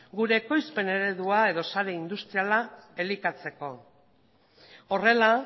gure ekoizpen eredu edo sare industriala elikatzeko horrela